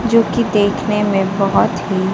जो की देखने में बहोत ही--